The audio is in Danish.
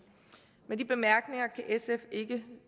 med de bemærkninger kan sf ikke